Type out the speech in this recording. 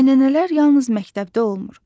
Ənənələr yalnız məktəbdə olmur.